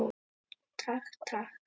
Takk, takk.